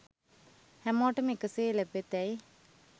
හැමෝටම එකසේ ලැබෙතැයි